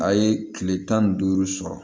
A ye kile tan ni duuru sɔrɔ